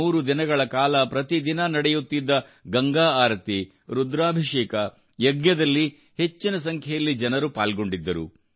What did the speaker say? ಮೂರು ದಿನಗಳ ಕಾಲ ಪ್ರತಿದಿನ ನಡೆಯುತ್ತಿದ್ದ ಗಂಗಾ ಆರತಿ ರುದ್ರಾಭಿಷೇಕ ಯಜ್ಞದಲ್ಲಿ ಹೆಚ್ಚಿನ ಸಂಖ್ಯೆಯಲ್ಲಿ ಜನರು ಪಾಲ್ಗೊಂಡಿದ್ದರು